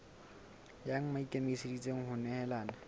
mang ya ikemiseditseng ho nehelana